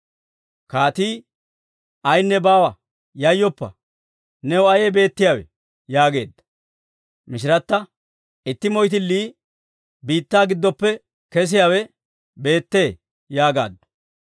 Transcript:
Kaatii, «Ayinne baawa; yayyoppa! New ayee beettiyaawe?» yaageedda. Mishirata, «Itti moyttilii biittaa giddoppe kesiyaawe beettee» yaagaaddu.